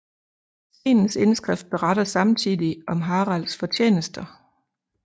Stenens indskrift beretter samtidig om Haralds fortjenester